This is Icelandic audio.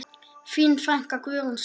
Þín frænka, Guðrún Svava.